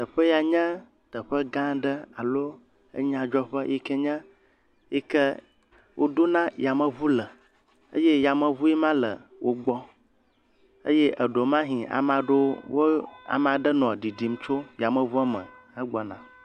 Teƒe ya nye teƒe gã aɖe alo enyadzɔƒe yi ke nye yi ke woɖona yameŋu le. Eye yameŋue ma le wogbɔ. Eye eɖewomahɛ̃ ama ɖewo wo, amaa ɖe nɔ ɖiɖim tso yameŋuɔ me hegbɔna.